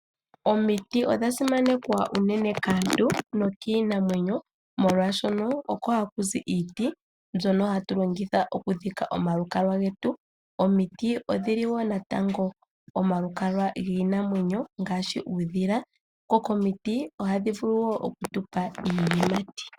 Omiti odha simanekwa unene kaantu nokiinamwenyo, molwashono oko haku zi iiti mbyono hatu longitha oku dhika omalukalwa getu, omiti odhili wo natango omalukalwa gwiinamwenyo ngaashi uudhila, dho komiti ohadhi vulu wo oku tupa iiyimati.